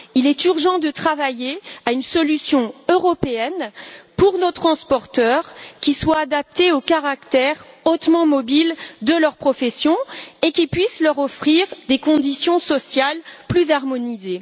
Il est urgent de travailler à une solution européenne pour nos transporteurs, qui soit adaptée au caractère hautement mobile de leur profession et qui puisse leur offrir des conditions sociales plus harmonisées.